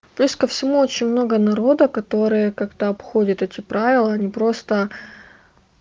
плюс ко всему очень много народа которые как-то обходит эти правила не просто